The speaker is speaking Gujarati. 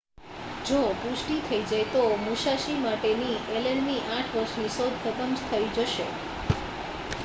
જો પુષ્ટિ થઈ જાય તો મુસાશી માટેની એલેનની 8 વર્ષની શોધ ખતમ થઈ જશે